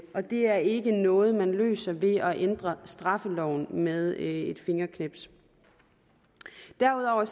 og det er ikke noget man løser ved at ændre straffeloven med et fingerknips derudover er